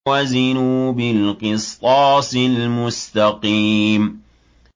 وَزِنُوا بِالْقِسْطَاسِ الْمُسْتَقِيمِ